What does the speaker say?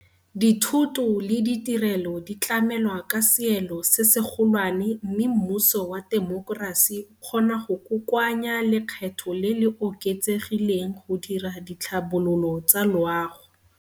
Dithoto le ditirelo di tlamelwa ka seelo se segolwane mme mmuso wa temokerasi o kgona go kokoanya lekgetho le le oketsegileng go dira ditlhabololo tsa loago.